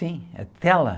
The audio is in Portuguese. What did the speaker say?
Sim, a tela.